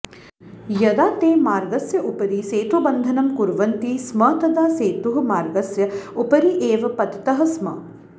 यदा ते मार्गस्य उपरि सेतुबन्धनं कुर्वन्ति स्म तदा सेतुः मार्गस्य उपरि एव पतितः स्म